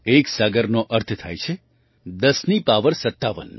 એક સાગરનો અર્થ થાય છે ૧૦ની પાવર ૫૭